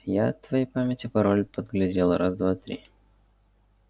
я от твоей памяти пароль подглядел раз-два-три